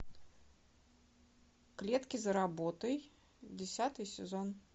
клетки за работой десятый сезон